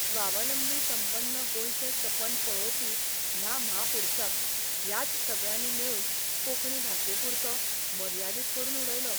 स्वावलंबी संपन्न गोंयचें सपन पळोवपी ह्या म्हापुरसाक ह्याच सगळ्यांनी मेळून कोंकणी भाशेपुरतो मर्यादीत करून उडयलो.